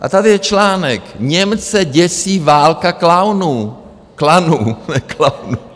A tady je článek: Němce děsí válka klaunů... klanů, ne klaunů.